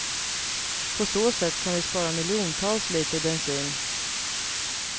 På så sätt kan vi spara miljontals liter bensin.